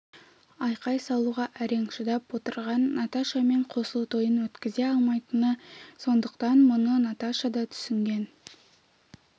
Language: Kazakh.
айқай салуға әрең шыдап отырған наташамен қосылу тойын өткізе алмайтыны сондықтан мұны наташа да түсінген